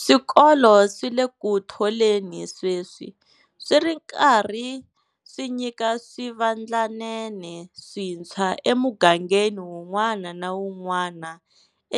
Swikolo swi le ku tholeni sweswi, swi ri karhi swi nyika swivandlanene swintshwa emugangeni wun'wana na wun'wana